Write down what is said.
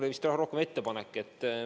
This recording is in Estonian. See oli rohkem vist ettepanek.